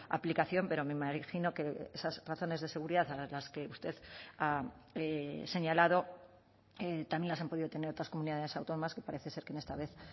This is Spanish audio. aplicación pero me imagino que esas razones de seguridad a las que usted ha señalado también las han podido tener otras comunidades autónomas que parece ser que esta vez